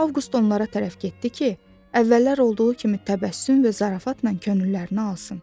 Avqust onlara tərəf getdi ki, əvvəllər olduğu kimi təbəssüm və zarafatla könüllərini alsın.